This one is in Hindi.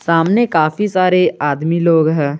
सामने काफी सारे आदमी लोग हैं।